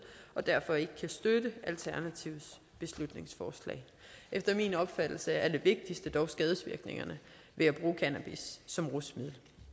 og derfor ikke kan støtte alternativets beslutningsforslag efter min opfattelse er det vigtigste dog skadevirkningerne ved at bruge cannabis som rusmiddel